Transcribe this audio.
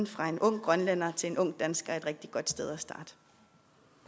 fra en ung grønlænder til en ung dansker et rigtig godt sted